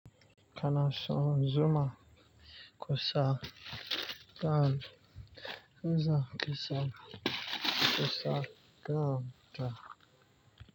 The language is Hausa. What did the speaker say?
Kana shan zuma kusa kan, za kasa kusa kan ta.